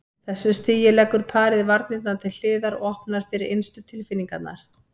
þessu stigi leggur parið varnirnar til hliðar og opnar fyrir innstu tilfinningarnar.